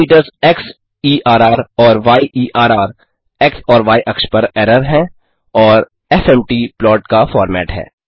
parameters क्सेर और येर एक्स और य अक्ष पर एरर हैं और एफएमटी प्लॉट का फ़ॉर्मेट है